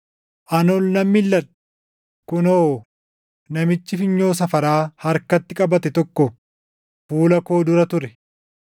Ani ol nan milʼadhe; kunoo, namichi funyoo safaraa harkatti qabate tokko fuula koo dura ture!